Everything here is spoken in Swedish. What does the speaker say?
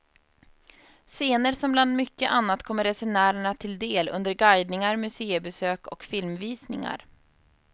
Scener som bland mycket annat kommer resenärerna till del under guidningar, museibesök och filmvisningar.